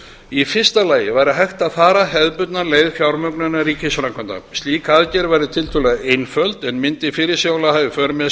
í fyrsta lagi væri hægt að fara hefðbundna leið fjármögnunar ríkisframkvæmda slík aðgerð væri tiltölulega einföld en mundi fyrirsjáanlega hafa í för með